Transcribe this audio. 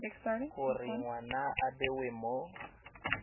gore ngwana a bewe mo